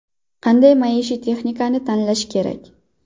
Qanday maishiy texnikani tanlash kerak?